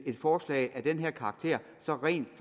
et forslag af den her karakter så rent